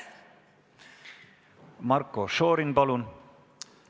Marko Šorin, palun!